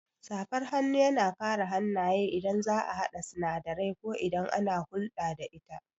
Safar hannu yana kare hannaye idan za'a haɗa sinadarai ko idan ana hulɗa da ita